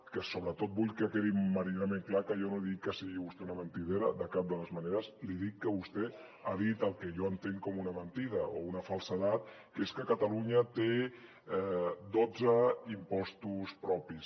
que sobretot vull que quedi meridianament clar que jo no dic que sigui vostè una mentidera de cap de les maneres li dic que vostè ha dit el que jo entenc com una mentida o una falsedat que és que catalunya té dotze impostos propis